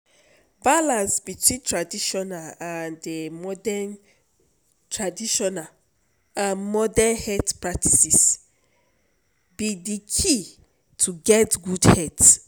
balance between traditional and modern traditional and modern health practices be de key to get good health.